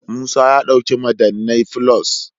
Musa ya dauki madannai.+